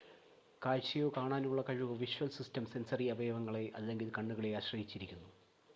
കാഴ്ചയോ കാണാനുള്ള കഴിവോ visual system sensory അവയവങ്ങളെ അല്ലെങ്കിൽ കണ്ണുകളെ ആശ്രയിച്ചിരിക്കുന്നു